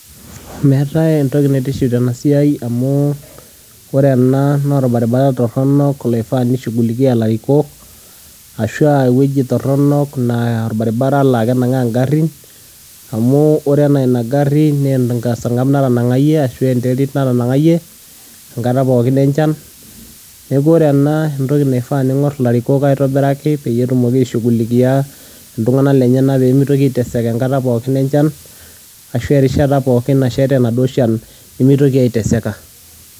Meetai entoki naitiship tena siai amu wore enaa naa orbaribari toronok loifaa nishungulikia ilarikok ashu eweji toronok naa orbaribari laa kenagaa ingarin, amu wore enaa ina gari naa eserangab natanangayie ashu enterit natangayie nekata pookin enchan. Niaku wore ena naa entoki naifaa niingorr ilarikok aitobiraki peyie etumoki aishungulikia iltunganak lenyenak pee mitoki aiteseka enkata pookin enchan ashu arishata pookin nashaita enaduo shan nimitoki aiteseka.